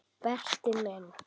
Berti minn.